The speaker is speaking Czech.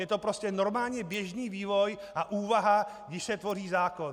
Je to prostě normální běžný vývoj a úvaha, když se tvoří zákon.